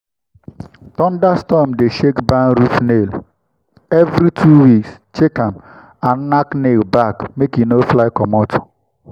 thunderstorm dey shake barn roof nail—every two weeks check am and nack nail back make e no fly comot.